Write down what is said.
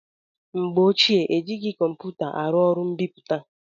Na mgbe ochie, ejighị kọmputa arụ ọrụ mbipụta.